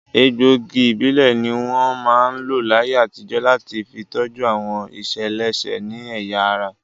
Egbòogi ìbílẹ̀ ní wọ́n máa ń lò láyé àtijọ́ láti fi tọ́jú àwọn ìṣeléṣe ní ẹ̀yà ara